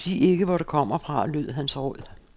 Sig ikke, hvor du kommer fra, lød hans råd.